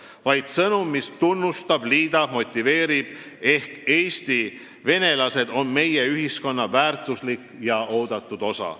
See peaks olema sõnum, mis tunnustab, liidab ja motiveerib – Eesti venelased on meie ühiskonna väärtuslik ja oodatud osa.